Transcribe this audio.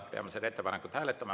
Peame seda ettepanekut hääletama.